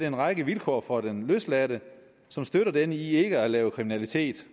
en række vilkår for den løsladte som støtter denne i ikke at lave kriminalitet